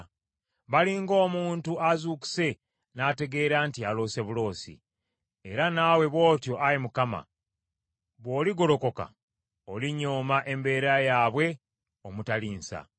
Bali ng’omuntu azuukuse n’ategeera nti yaloose buloosi; era naawe bw’otyo, Ayi Mukama, bw’oligolokoka olinyooma embeera yaabwe omutali nsa.